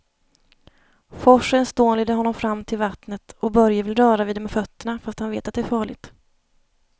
Forsens dån leder honom fram till vattnet och Börje vill röra vid det med fötterna, fast han vet att det är farligt.